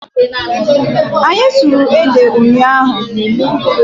Anyị sụrụ ede ụnyaahụ.